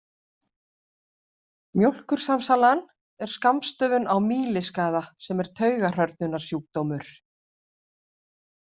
Mjólkursamsalan er skammstöfun á mýliskaða sem er taugahrörnunarsjúkdómur.